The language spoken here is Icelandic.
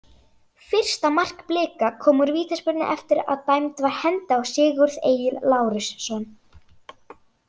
Fyrsta mark Blika kom úr vítaspyrnu eftir að dæmd var hendi á Sigurð Egil Lárusson.